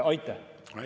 Aitäh!